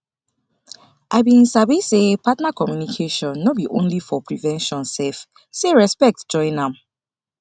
i been sabi say partner communication no be only for prevention sef say respect join am